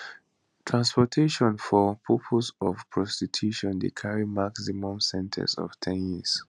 transportation for purposes of prostitution dey carry maximum sen ten ce of ten years